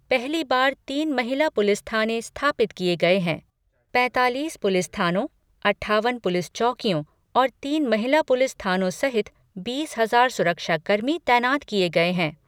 पहली बार तीन महिला पुलिस थाने स्थापित किए गए हैं। पैंतालीस पुलिस थानों, अट्ठावन पुलिस चौकियों और तीन महिला पुलिस थानों सहित बीस हजार सुरक्षा कर्मी तैनात किए गए हैं।